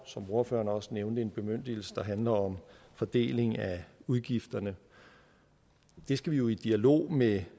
som ordføreren også nævnte en bemyndigelse der handler om fordeling af udgifterne det skal vi jo i dialog med